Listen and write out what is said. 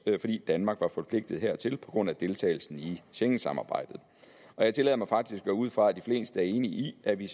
fordi danmark var forpligtet hertil på grund af deltagelsen i schengensamarbejdet og jeg tillader mig faktisk at gå ud fra at de fleste er enige i at vi